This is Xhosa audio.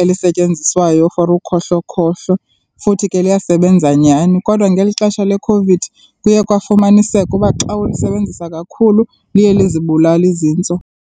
elisetyenziswayo for ukhohlokhohlo futhi ke liyasebenza nyhani,. Kodwa ngeli xesha leCOVID kuye kwafumaniseka uba xa ulisebenzisa kakhulu liye lizibulale izintso.